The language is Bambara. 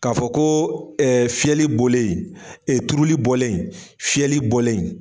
Ka fɔ ko ɛɛ fiyɛli bɔlen, ee turuli bɔlen fiyɛli bɔlen